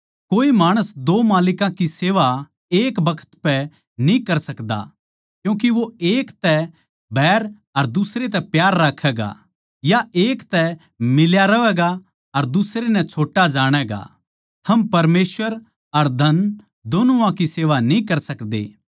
कोए माणस दो मालिकां की सेवा एक बखत पै न्ही कर सकदा क्यूँके वो एक तै बैर अर दुसरे तै प्यार राक्खैगा या एक तै मिल्या रहवैगा अर दुसरे नै छोट्टा जाणैगा थम परमेसवर अर धन दोनुआ की सेवा न्ही कर सकदे